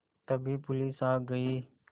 तभी पुलिस आ गई